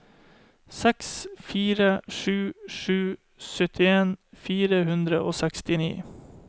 seks fire sju sju syttien fire hundre og sekstini